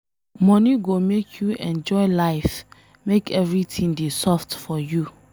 Money go make you enjoy life make everything dey soft for you.